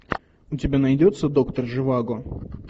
у тебя найдется доктор живаго